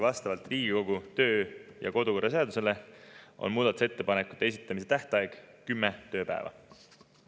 Vastavalt Riigikogu kodu- ja töökorra seadusele on muudatusettepanekute esitamise tähtaeg kümme tööpäeva.